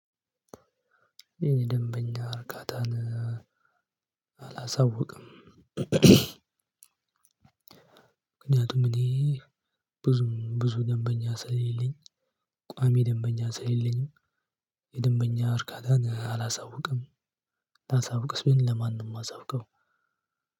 የኔ ደንበኛ እርካታን አላሳውቅም። ምክንያቱ እኔ ብዙ ብዙ ደንበኛ ስለሌለኝ። ቋሚ ደንበኛ ስለሌለኝም የደንበኛ እርካታን ባሳውቅም። ላሳውቅስ ለማንም ነው የማሳውቀው